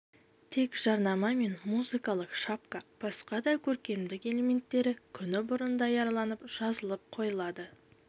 тек жарнама мен музыкалық шапка басқа да көркемдік элементтері күні бұрын даярланып жазылып қойылады